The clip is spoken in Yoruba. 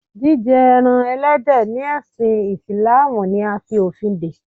Jíjẹ ẹran Ẹlẹ́dẹ̀ ni ẹsin Ìsìlámù ni a fi òfin dè.